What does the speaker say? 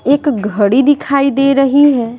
एक घड़ी दिखाई दे रही है।